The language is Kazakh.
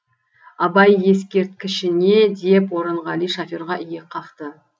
абай ескерткішіне деп орынғали шоферға иек қақты